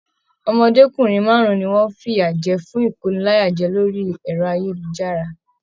Ọmọdékunrin márùn ní wọn fiyajẹ fún ikóníláyàjẹ̀ orí ẹrọ ayélujára.